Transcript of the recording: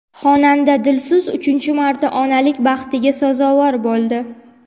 Xonanda Dilso‘z uchinchi marta onalik baxtiga sazovor bo‘ldi.